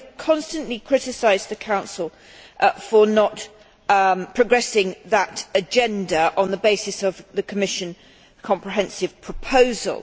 We have constantly criticised the Council for not progressing that agenda on the basis of the Commission's comprehensive proposal.